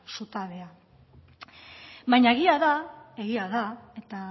baina egia da eta